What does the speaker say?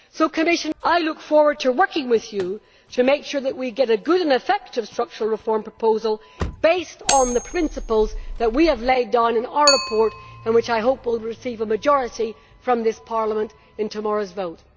So I look forward to working with the Commissioner to make sure that we get a good and effective structural reform proposal based on the principles that we have laid down in our report and which, I hope, will receive a majority from this Parliament in tomorrow's vote.